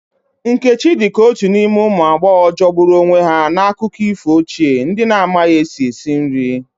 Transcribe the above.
Nkechi dị ka otu n'ime ụmụ agbọghọ jọgburu onwe ya n'akụkọ ifo ochie, ndị na-amaghị esi esi nri.